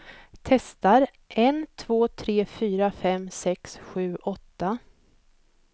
Testar en två tre fyra fem sex sju åtta.